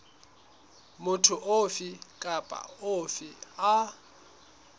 motho ofe kapa ofe a